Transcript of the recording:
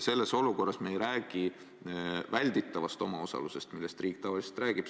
Selles olukorras ei räägi me välditavast omaosalusest, millest riik tavaliselt räägib.